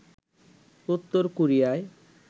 Uttar Korea